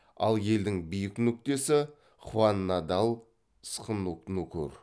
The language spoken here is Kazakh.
ал елдің биік нүктесі хваннадалсхнукүр